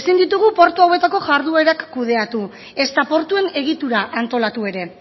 ezin ditugu portu hauetako jarduerak kudeatu ezta portuen egitura antolatu ere